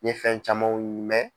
Ye fɛn camanw .